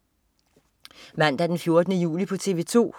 Mandag den 14. juli - TV 2: